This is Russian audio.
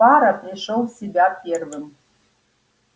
фара пришёл в себя первым